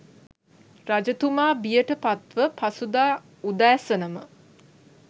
රජතුමා බියට පත්ව පසුදා උදෑසනම